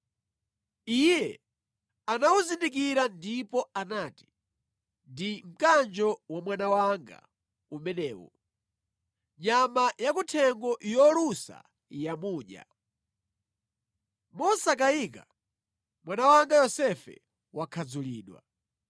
Iye anawuzindikira ndipo anati, “Ndi mkanjo wa mwana wanga umenewu! Nyama yakuthengo yolusa yamudya. Mosakayika, mwana wanga Yosefe wakhadzulidwa.”